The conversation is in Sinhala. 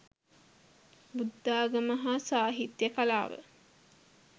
බුද්ධාගම හා සාහිත්‍ය කලාව